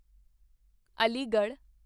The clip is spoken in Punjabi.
ਅਲੀਗੜ੍ਹ